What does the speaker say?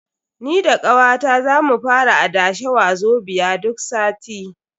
Ni da kawata za mu fara adashe Wazobia duk sati.